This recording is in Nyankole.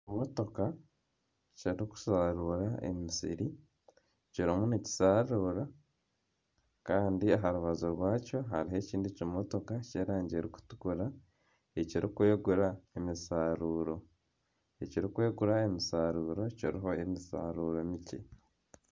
Ekimotoka Kiri kusharuura emisiri kirimu nikisharuura kandi aharubaju rwakyo hariho ekindi kimotoka ky'erangi eri kutukura ekiri kwegura emisharuuro. Ekiri kwegura emisharuuro kiriho emisharuuro mikye.